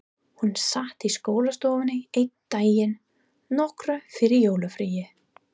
Hún sat í skólastofunni einn daginn, nokkru fyrir jólafríið.